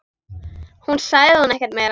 Svo sagði hún ekkert meira.